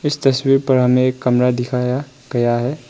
इस तस्वीर पर हमे एक कमरा दिखाया गया --